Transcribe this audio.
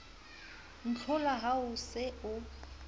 ntlhola ha o se o